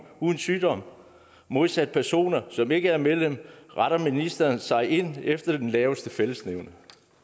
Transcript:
under sygdom modsat personer som ikke er medlem retter ministeren sig ind efter den laveste fællesnævner